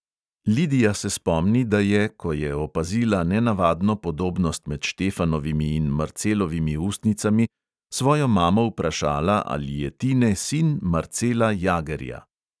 Lidija se spomni, da je, ko je opazila nenavadno podobnost med štefanovimi in marcelovimi ustnicami, svojo mamo vprašala, ali je tine sin marcela jagerja.